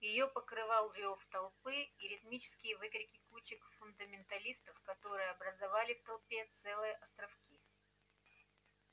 её покрывал рёв толпы и ритмические выкрики кучек фундаменталистов которые образовали в толпе целые островки